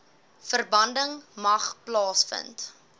verbranding mag plaasvind